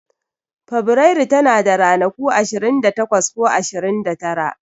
Feburairu tana da ranaku ashirin da takwas ko ashirin da tara.